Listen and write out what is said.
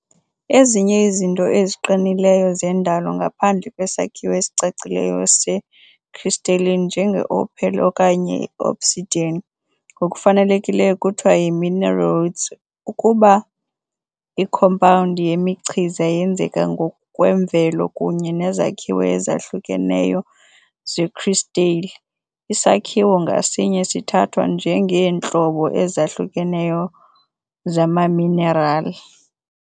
Ezinye izinto eziqinileyo zendalo ngaphandle kwesakhiwo esicacileyo se-crystalline, njenge-opal okanye i-obsidian, ngokufanelekileyo kuthiwa yi-mineraloids. Ukuba ikhompawundi yemichiza yenzeka ngokwemvelo kunye nezakhiwo ezahlukeneyo zekristale, isakhiwo ngasinye sithathwa njengeentlobo ezahlukeneyo zamaminerali.